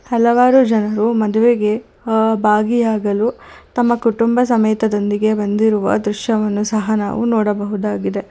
ಹಲವಾರು ಜನರು ಮದುವೆಗೆ ಅ ಭಾಗಿಯಾಗಲು ತಮ್ಮ ಕುಟುಂಬ ಸಮೇತದೊಂದಿಗೆ ಬಂದಿರುವ ದೃಶ್ಯವನ್ನು ಸಹ ನಾವು ನೋಡಬಹುದಾಗಿದೆ.